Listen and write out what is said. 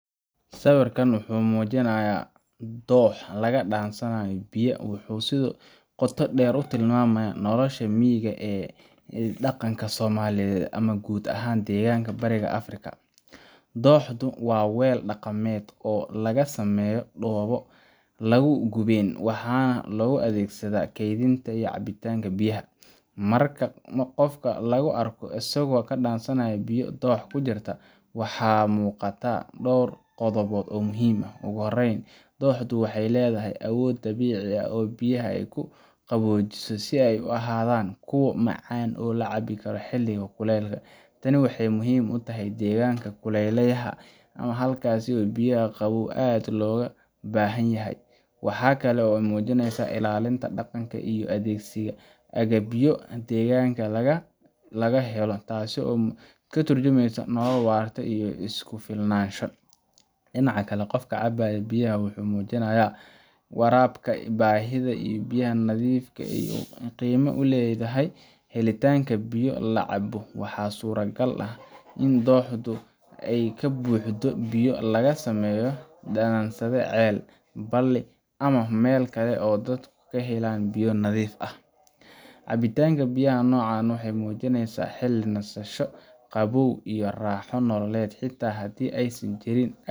Sawirka muujinaya dhoox laga dhansanayo biyo wuxuu si qoto dheer u tilmaamayaa nolosha miyiga ee dhaqanka Soomaaliyeed ama guud ahaan deegaanka Bariga Afrika. Dhooxdu waa weel dhaqameed oo laga sameeyo dhoobo la gubeen, waxaana loo adeegsadaa kaydinta iyo cabitaanka biyaha. Marka qof laga arko isagoo ka dhansanaya biyo dhoox ku jira, waxaa muuqata dhowr qodob oo muhiim ah. Ugu horreyn, dhooxdu waxay leedahay awood dabiici ah oo ay biyaha ku qaboojiso si ay u ahaadaan kuwo macaan oo la cabo xilliga kululk. Tani waxay muhiim u tahay deegaanka kuleylaha ah halkaas oo biyo qabow aad loogu baahan yahay. Waxa kale oo ay muujinaysaa ilaalinta dhaqanka iyo adeegsiga agabyo deegaanka laga helo, taasoo ka tarjumeysa nolol waarta iyo is-ku-filnaansho. Dhinaca kale, qofka cabaya biyaha wuxuu muujinayaa ka warqabka baahida biyo nadiif ah iyo qiimaha ay leedahay helitaanka biyo la cabo. Waxaa suurtogal ah in dhooxdu ka buuxdo biyo laga soo dhaansaday ceel, balli, ama meel kale oo dadku ka helaan biyo nadiif ah. Cabitaanka biyaha noocan ah wuxuu muujinaysaa xilli nasasho, qabow iyo raaxo nololeed, xitaa haddii aysan jirin